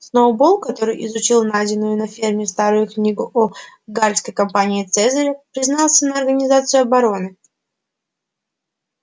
сноуболл который изучил найденную на ферме старую книгу о галльской кампании цезаря признался на организацию обороны